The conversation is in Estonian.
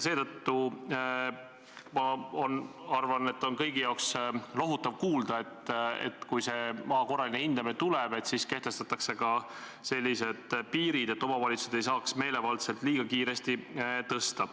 Seetõttu ma arvan, et kõigil on lohutav kuulda, et kui maa korraline hindamine tuleb, siis kehtestatakse ka piirid, et omavalitsused ei saaks määra meelevaldselt liiga kiiresti tõsta.